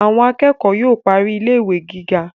Àwọn akẹ́kọ̀ọ́ yóò parí ilé ìwé gíga